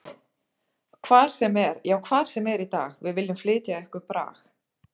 Hvar sem er, já hvar sem er í dag Við viljum flytja ykkur brag.